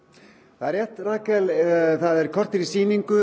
það er rétt kortér í sýningu